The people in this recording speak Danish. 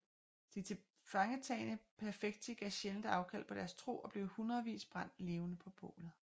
De tilfangetagne perfecti gav sjældent afkald på deres tro og blev i hundredvis brændt levende på bålet